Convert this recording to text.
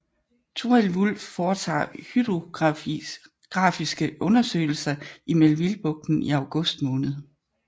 Thorild Wulff foretager hydrografiske undersøgelser i Melvillebugten i august måned